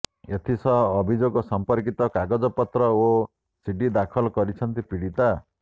ଏଥିସହ ଅଭିଯୋଗ ସଂପର୍କିତ କାଗଜପତ୍ର ଓ ସିଡି ଦାଖଲ କରିଛନ୍ତି ପୀଡ଼ିତା